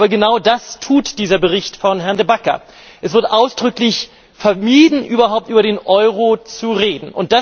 Aber genau das tut dieser Bericht von Herrn De Backer. Es wird ausdrücklich vermieden, überhaupt über den Euro zu reden.